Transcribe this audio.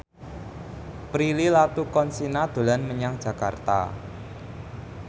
Prilly Latuconsina dolan menyang Jakarta